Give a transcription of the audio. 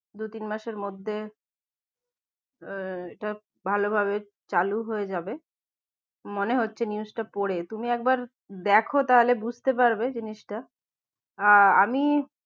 দু তিন মাসের মধ্যে আহ এটা ভালো ভাবে চালু হয়ে যাবে মনে হচ্ছে news টা পরে তুমি একবার দেখো তাহলে বুঝতে পারবে জিনিসটা আহ আমি